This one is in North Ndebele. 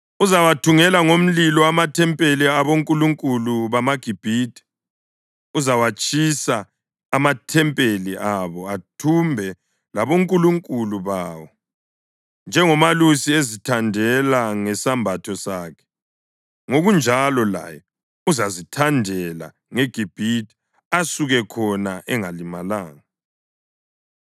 Uzawathungela ngomlilo amathempeli abonkulunkulu bamaGibhithe; uzawatshisa amathempeli abo athumbe labonkulunkulu bawo. Njengomelusi ezithandela ngesembatho sakhe, ngokunjalo laye uzazithandela ngeGibhithe asuke khona engalimalanga.